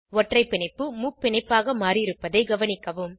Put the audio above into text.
ஒற்றை பிணைப்பு முப்பிணைப்பாக மாறியிருப்பதை கவனிக்கவும்